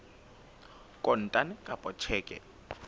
kontane kapa ka tjheke e